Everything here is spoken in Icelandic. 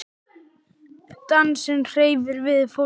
Dansinn hreyfir við fólki.